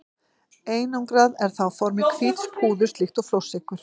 Einangrað er það á formi hvíts púðurs líkt og flórsykur.